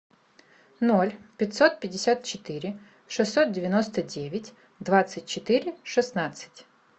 ноль пятьсот пятьдесят четыре шестьсот девяносто девять двадцать четыре шестнадцать